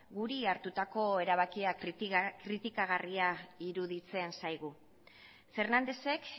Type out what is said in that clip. guri hartutako erabakia kritikagarria iruditzen zaigu fernándezek